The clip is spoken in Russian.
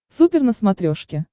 супер на смотрешке